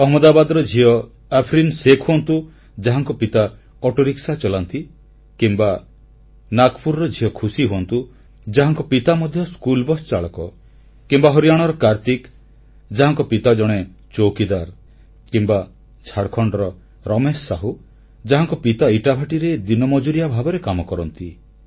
ଅହମ୍ମଦାବାଦର ଝିଅ ଆଫରିନ୍ ଶେଖ୍ ହୁଅନ୍ତୁ ଯାହାଙ୍କ ପିତା ଅଟୋରିକ୍ସା ଚଲାନ୍ତି କିମ୍ବା ନାଗପୁରର ଝିଅ ଖୁସୀ ହୁଅନ୍ତୁ ଯାହାଙ୍କ ପିତା ମଧ୍ୟ ସ୍କୁଲବସ୍ ର ଚାଳକ କିମ୍ବା ହରିୟାଣାର କାର୍ତ୍ତିକ ଯାହାଙ୍କ ପିତା ଜଣେ ଚୌକିଦାର ଅଟନ୍ତି କିମ୍ବା ଝାଡ଼ଖଣ୍ଡର ରମେଶ ସାହୁ ଯାହାଙ୍କ ପିତା ଇଟା ଭାଟିରେ ଦିନ ମଜୁରିଆ ଭାବେ କାମ କରନ୍ତି